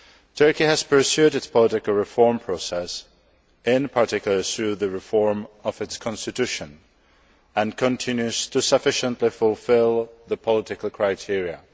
Turkey has pursued its political reform process, in particular, through the reform of its constitution, and continues to sufficiently fulfil the political criteria.